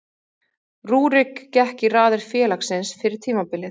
Rúrik gekk í raðir félagsins fyrir tímabilið.